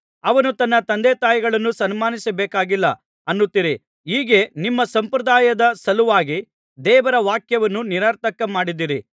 ಅವನು ತನ್ನ ತಂದೆತಾಯಿಗಳನ್ನು ಸನ್ಮಾನಿಸಬೇಕಾಗಿಲ್ಲ ಅನ್ನುತ್ತೀರಿ ಹೀಗೆ ನಿಮ್ಮ ಸಂಪ್ರದಾಯದ ಸಲುವಾಗಿ ದೇವರ ವಾಕ್ಯವನ್ನು ನಿರರ್ಥಕ ಮಾಡಿದ್ದೀರಿ